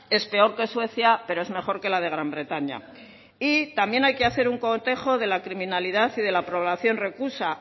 es peor que suecia pero es mejor que la de gran bretaña y también hay que hacer un cotejo de la criminalidad y de la población reclusa